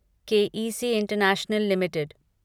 के E C International limited